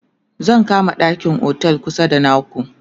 zan kama ɗakin otel kusa da naku